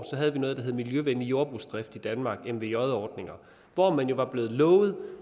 havde noget der hed miljøvenlig jordbrugsdrift ordninger i danmark mvj ordninger hvor man jo var blevet lovet at